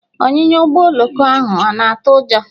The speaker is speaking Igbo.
Ọnyịnya Ụgbọ oloko ahụ ana atụ ụjọ?